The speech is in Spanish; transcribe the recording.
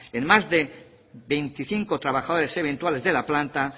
en más de veinticinco trabajadores eventuales de la planta